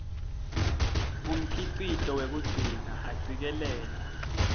umkhicito wekugcina acikelela